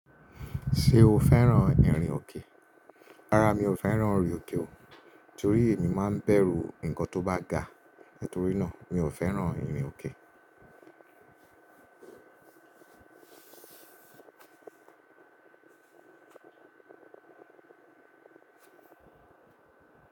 Ṣé o fẹ́ràn ìrìn òkè? Rárá mi ò fẹ́ràn ìrìn òkè o, torí èmi má ń bẹ̀rù nǹkan tó bá ga, nítorí náà mi ò fẹ́ràn ìrìn òkè.